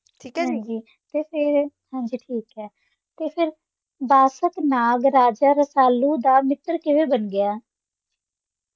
ਹਾਂਜੀ ਠੀਕ ਹੈ ਤੇ ਫਿਰ ਬਾਸ਼ਕ ਨਾਗ ਰਾਜਾ ਰਸਾਲੂ ਦਾ ਮਿੱਤਰ ਕਿਵੇਂ ਬਣ ਗਿਆ?